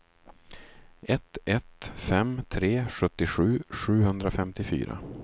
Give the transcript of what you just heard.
ett ett fem tre sjuttiosju sjuhundrafemtiofyra